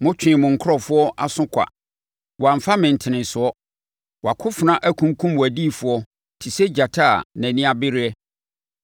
“Metwee mo nkurɔfoɔ aso kwa; wɔamfa me ntenesoɔ. Wʼakofena akunkum wʼadiyifoɔ te sɛ gyata a nʼani abereɛ.